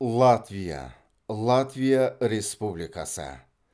латвия латвия республикасы